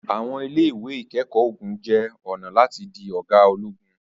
àwọn ile-iwe ikẹkọ ogun jẹ ọna lati di oga ologun